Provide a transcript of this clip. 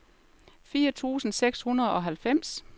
fire tusind seks hundrede og halvfems